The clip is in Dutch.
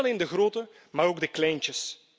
Niet alleen de groten, maar ook de kleintjes.